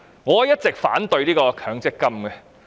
我一直反對強積金計劃。